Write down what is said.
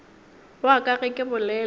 wa ka ge ke bolela